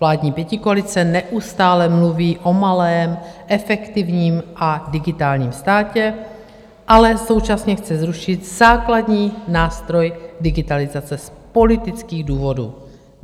Vládní pětikoalice neustále mluví o malém, efektivním a digitálním státě, ale současně chce zrušit základní nástroj digitalizace z politických důvodů.